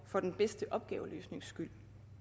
for den bedste opgaveløsnings skyld